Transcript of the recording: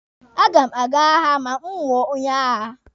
A ga m aga agha ma m wụọ onye agha.